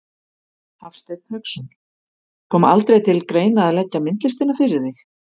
Hafsteinn Hauksson: Kom aldrei til greina að leggja myndlistina fyrir þig?